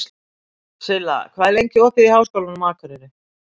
Silla, hvað er lengi opið í Háskólanum á Akureyri?